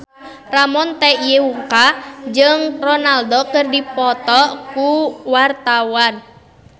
Ramon T. Yungka jeung Ronaldo keur dipoto ku wartawan